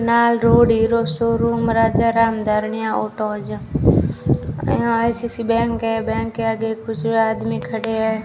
नाल road hero showroom Rajaram Dharaniya auto आज यहां आइ_सी_आई_सी_आइ बैंक के बैंक के आगे कुछ आदमी खड़े हैं।